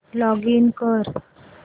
login कर